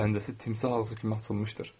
Pəncəsi timsah ağzı kimi açılmışdır.